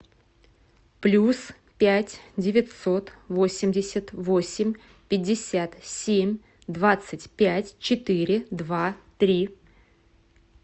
плюс пять девятьсот восемьдесят восемь пятьдесят семь двадцать пять четыре два три